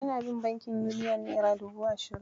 Ina bin bankin Uniyon naira dubu ashirin.